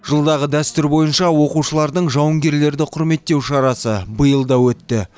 жылдағы дәстүр бойынша оқушылардың жауынгерлерді құрметтеу шарасы биыл да өтті